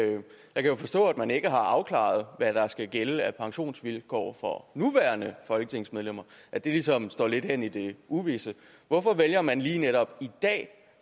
kan jo forstå at man ikke har afklaret hvad der skal gælde af pensionsvilkår for nuværende folketingsmedlemmer og at det ligesom står lidt hen i det uvisse hvorfor vælger man lige netop i dag